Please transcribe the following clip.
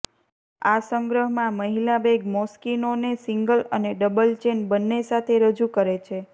આ સંગ્રહમાં મહિલા બેગ મોસ્કિનોને સિંગલ અને ડબલ ચેન બન્ને સાથે રજૂ કરે છે